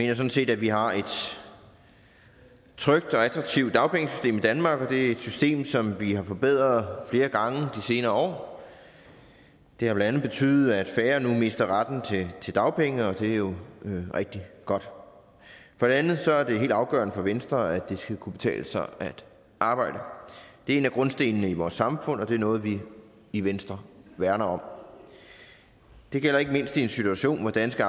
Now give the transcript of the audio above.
jeg sådan set at vi har et trygt og attraktivt dagpengesystem i danmark og det er et system som vi har forbedret flere gange de senere år det har blandt andet betydet at færre nu mister retten til dagpenge og det er jo rigtig godt for det andet er det helt afgørende for venstre at det skal kunne betale sig at arbejde det er en af grundstenene i vores samfund og det er noget vi i venstre værner om det gælder ikke mindst i en situation hvor danske